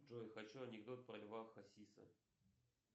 джой хочу анекдот про льва хасиса